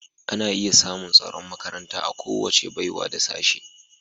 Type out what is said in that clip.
Ana iya samun tsaron makaranta a kowace baiwa da Sashen